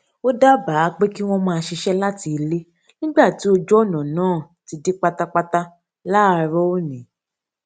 ó dábàá pé kí wọn máa ṣiṣẹ láti ilé nígbà tí ojú ọnà náà ti dí pátápátá láàárọ òní